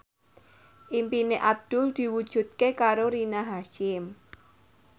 impine Abdul diwujudke karo Rina Hasyim